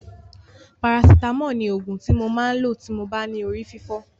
Parasitámọ̀ ni òògùn ti mo máa lò tí mo bá ní orí fífọ́.